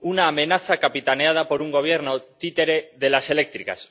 una amenaza capitaneada por un gobierno títere de las eléctricas